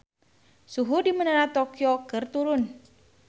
Suhu di Menara Tokyo keur turun